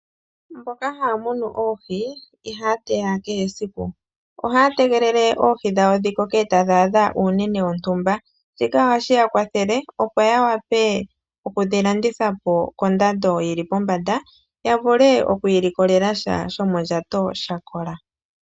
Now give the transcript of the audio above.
Mboka haa munu oohi, ihaya teya kehe esiku. Ohaa tegelele oohi dhawo dhi koko eta dhaadha uunene wontumba. Shika ohashi ya kwathele opo ya wape okudhilanditha po kondando yi li pombanda, ya vule iikwiilikolesha shomondjato shakola.